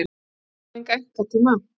Ég þarf enga einkatíma.